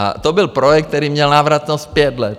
A to byl projekt, který měl návratnost pět let.